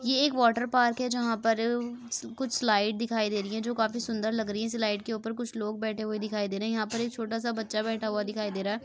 ये एक water park है जहां पर कुछ स्लाइड दिखाई दे रही है जो काफी सुंदर लग रही है स्लाइड के ऊपर कुछ लोग बैठे हुए दिखाई दे रहे हैं यहां पर एक छोटा सा बच्चा बैठा हुआ दिखाई दे रहा है।